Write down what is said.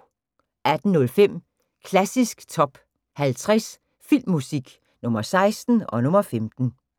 18:05: Klassisk Top 50 Filmmusik – Nr. 16 og nr. 15